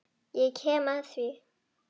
Ég kem að því.